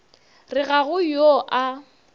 re ga go yo a